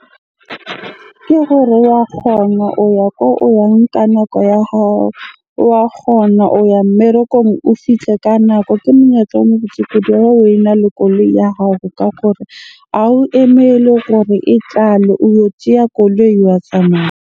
Ke gore wa kgona o ya ko o yang ka nako ya hao. Wa kgona o ya mmerekong, o fihle ka nako. Ke monyetla omo botse kudu ena le koloi ya hao ka gore ha o emele gore e tlale, o yo tjeya koloi wa tsamaya.